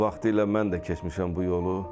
Vaxtilə mən də keçmişəm bu yolu.